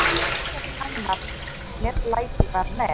Ekkert annað meðlæti var með.